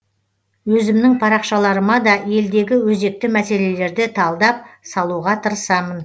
өзімнің парақшаларыма да елдегі өзекті мәселелерді талдап салуға тырысамын